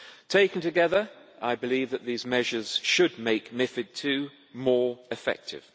Taken together, I believe that these measures should make MiFID II more effective.